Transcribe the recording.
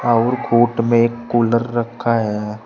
और कोट में एक कूलर रखा है।